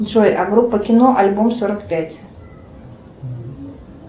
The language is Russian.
джой а группа кино альбом сорок пять